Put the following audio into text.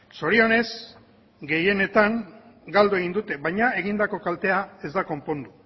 zorionez gehienetan galdu egin dute baina egindako kaltea ez da konpondu